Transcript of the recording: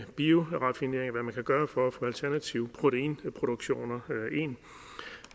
bioraffinering og hvad man kan gøre for at få alternative proteinproduktioner ind